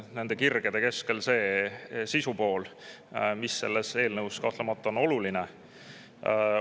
Nende kirgede keskel on oluline korrata üle see sisupool, mis selles eelnõus kahtlemata oluline on.